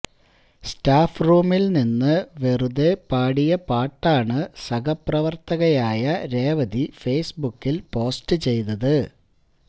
staff റൂമില് നിന്ന് വെറുതെ പാടിയ പാട്ടാണ് സഹപ്രവര്ത്തകയായ രേവതി ഫെയ്സ്ബുക്കില് പോസ്റ്റ് ചെയ്തത്